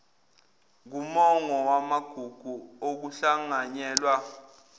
kumongo wamagugu okuhlanganyela